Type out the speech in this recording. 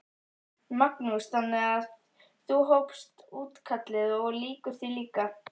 Magnús: Þannig að þú hófst útkallið og lýkur því líka?